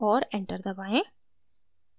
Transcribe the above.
और enter दबाएं